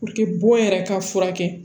bon yɛrɛ ka furakɛ